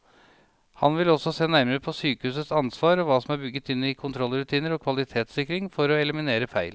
Han vil også se nærmere på sykehusets ansvar og hva som er bygget inn i kontrollrutiner og kvalitetssikring for å eliminere feil.